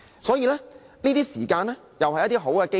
所以，現在是一個追問的好機會。